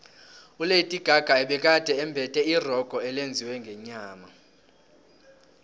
ulady gaga ubegade embethe irogo elenziwe ngenyama